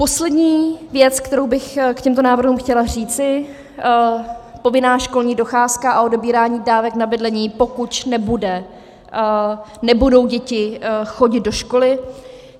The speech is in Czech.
Poslední věc, kterou bych k těmto návrhům chtěla říci, povinná školní docházka a odebírání dávek na bydlení, pokud nebudou děti chodit do školy.